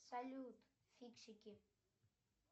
салют фиксики